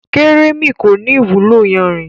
Kérémi kọ́ ni ìwúlò yanrìn.